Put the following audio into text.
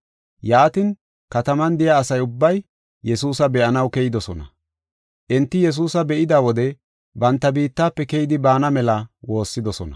Yaatin, kataman de7iya asa ubbay Yesuusa be7anaw keyidosona. Enti Yesuusa be7ida wode banta biittafe keyidi baana mela woossidosona.